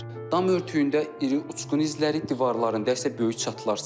Dam örtüyündə iri uçqun izləri, divarlarında isə böyük çatılar.